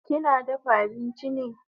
Kina dafa abinchi ne?